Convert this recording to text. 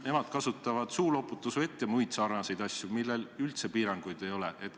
Nemad kasutavad suuloputusvett ja muid asju, millel üldse piiranguid ei ole.